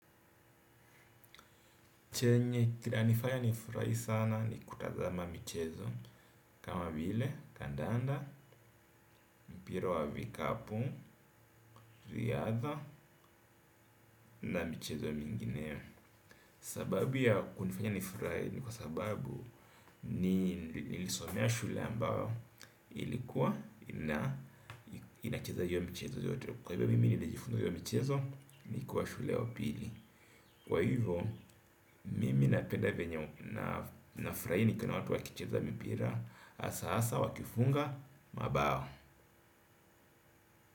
Anifanya nifurai sana ni kutazama michezo kama vile, kandanda, mpira wa vikapu, riadha na michezo mingineo. Sababu ya kunifanya nifurahi ni kwa sababu nilisomea shule ambao ilikuwa inacheza hio michezo zote. Kwa hivyo mimi nilijifunza hio michezo nikuwa shule ya upili. Kwa hivyo, mimi napenda venye nafurai nikiona watu wakicheza mipira asa asa wakifunga, mabao.